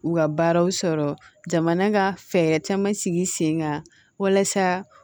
U ka baaraw sɔrɔ jamana ka fɛɛrɛ caman sigi sen kan walasa